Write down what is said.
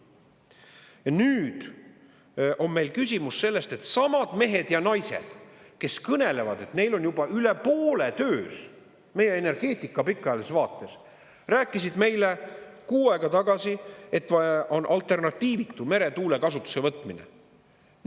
Ja nüüd on meil küsimus selles, et samad mehed ja naised, kes kõnelevad, et neil on juba üle poole töös meie energeetika pikaajalises vaates, rääkisid meile kuu aega tagasi, et meretuule kasutuselevõtmine on alternatiivitu.